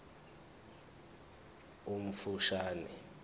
omfushane esiqeshini b